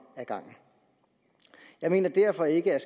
ad gangen jeg mener derfor ikke at